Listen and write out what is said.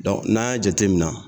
n'an y'a jatemina